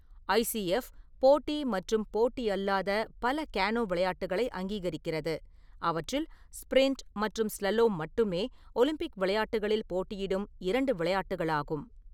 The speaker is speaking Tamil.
ஐ. சி. எஃப், போட்டி மற்றும் போட்டி அல்லாத பல கேனோ விளையாட்டுகளை அங்கீகரிக்கிறது, அவற்றில் ஸ்ப்ரிண்ட் மற்றும் ஸ்லலோம் மட்டுமே ஒலிம்பிக் விளையாட்டுகளில் போட்டியிடும் இரண்டு விளையாட்டுகளாகும்.